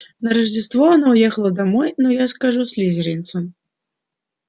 на рождество она уехала домой но я скажу слизеринцам